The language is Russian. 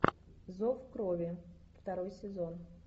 зов крови второй сезон